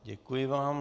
Děkuji vám.